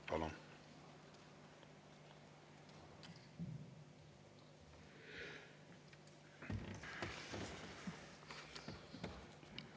Palun!